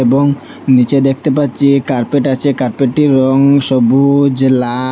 এবং নীচে দেখতে পাচ্ছি কার্পেট আছে কার্পেটটির রং সবুজ লা--